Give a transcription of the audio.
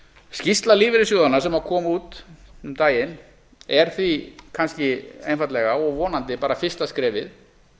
skýrsla lífeyrissjóðanna sem kom út um daginn er því kannski einfaldlega og vonandi bara fyrsta skrefið